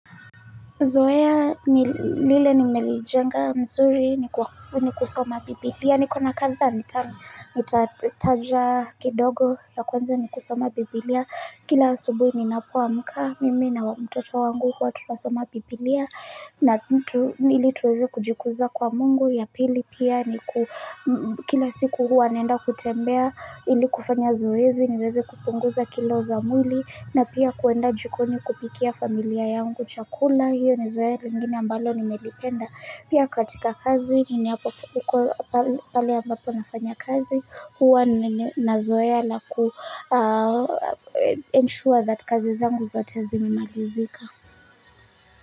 Zoea lile nimelijenga nzuri ni kusoma Biblia. Nikona kadha nitataja kidogo ya kwanza ni kusoma Biblia. Kila asubuhi ninapoamka mimi na wa mtoto wangu huwa tunasoma Biblia. Ili tuweze kujikuza kwa mungu. Ya pili pia ni ku kila siku huwa naenda kutembea ili kufanya zoezi niweze kupunguza kilo za mwili. Na pia kuenda jikoni kupikia familia yangu chakula, hiyo ni zoea lingine ambalo nimelipenda. Pia katika kazi hapa huko pale ambapo nafanya kazi huwa na zoea la ku ensure that kazi zangu zote zimemalizika.